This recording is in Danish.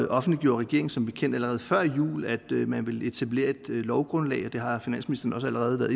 offentliggjorde regeringen som bekendt allerede før jul at man ville etablere et lovgrundlag og det har finansministeren også allerede